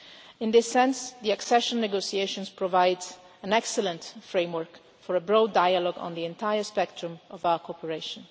issue. To that extent, the accession negotiations provide an excellent framework for a broad dialogue on the entire spectrum of our cooperation.